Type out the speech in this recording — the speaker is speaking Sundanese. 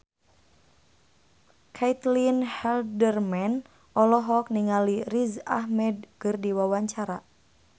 Caitlin Halderman olohok ningali Riz Ahmed keur diwawancara